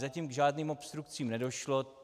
Zatím k žádným obstrukcím nedošlo.